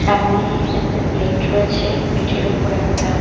সামনে একটা প্লেট রয়েছে প্লেট -এর উপর একটা--